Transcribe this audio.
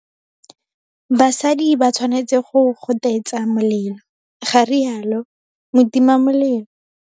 BASADI ba tshwanetse go gotetsa molelo, ga rialo motimamelelo.